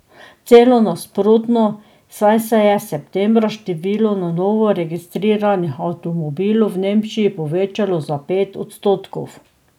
Celo nasprotno, saj se je septembra število na novo registriranih avtomobilov v Nemčiji povečalo za pet odstotkov.